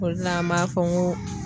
O de la an b'a fɔ n ko